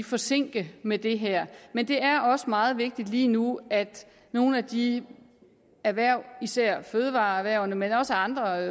forsinke med det her men det er også meget vigtigt lige nu at nogle af de erhverv især fødevareerhvervene men også andre